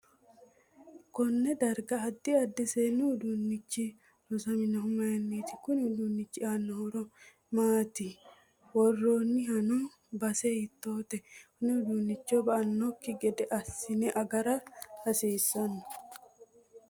Konne darga addi addi seessu uduunichi loosaminohu mayiiniti kuni uduunichi aano horo maatiiso worrreheenooni base hiitoote konne uduunicho ba'anokki gede hiisine agara hassiisanno